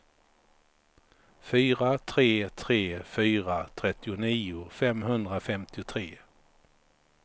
fyra tre tre fyra trettionio femhundrafemtiotre